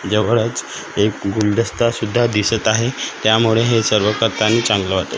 जवळच एक गुलदस्ता सुद्धा दिसत आहे त्यामुळे हे सर्व करताना चांगलं वाटतं.